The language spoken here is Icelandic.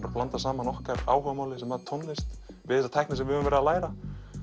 að blanda saman okkar áhugamáli sem var tónlist við þessa tækni sem við höfðum verið að læra